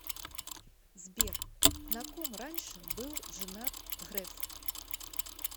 сбер на ком раньше был женат греф